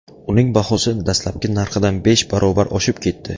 Uning bahosi dastlabki narxidan besh barobar oshib ketdi.